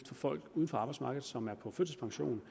til folk uden for arbejdsmarkedet som er på førtidspension